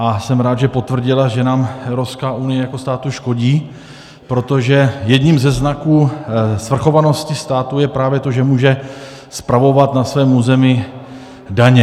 A jsem rád, že potvrdila, že nám Evropská unie jako státu škodí, protože jedním ze znaků svrchovanosti státu je právě to, že může spravovat na svém území daně.